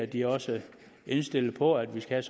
de også er indstillet på at vi skal